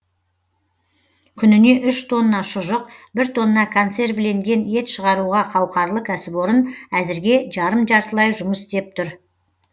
күніне үш тонна шұжық бір тонна консервіленген ет шығаруға қауқарлы кәсіпорын әзірге жарым жартылай жұмыс істеп тұр